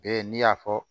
Bɛɛ n'i y'a fɔ